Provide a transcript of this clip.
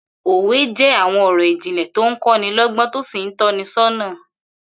Òwe jé̩ àwo̩n ò̩rò̩ ìjìnlè̩ tó ń kó̩ ní ló̩gbó̩n tó sì ń tó̩ ni só̩nà